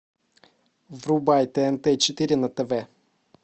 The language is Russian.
врубай тнт четыре на тв